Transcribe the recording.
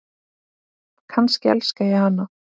Kannski elska ég hana?